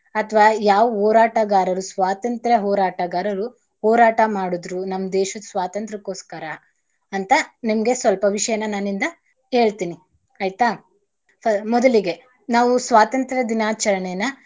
ಅಥವಾ ಯಾವ್ ಹೋರಾಟಗಾರರು ಸ್ವಾತಂತ್ರ ಹೋರಾಟಗಾರರು ಹೋರಾಟ ಮಾಡದ್ರು ನಮ್ ದೇಶದ್ ಸ್ವಾತಂತ್ರಕ್ಕೋಸ್ಕರ ಅಂತ ನಿಮ್ಗೆ ಸ್ವಲ್ಪ ವಿಷ್ಯನ ನನ್ನಿಂದ ಹೇಳ್ತೀನಿ. ಆಯ್ತಾ ಫ~ ಮೊದಲಿಗೆ ನಾವು ಸ್ವತಂತ್ರ ದಿನಾಚರಣೆಯನ್ನ.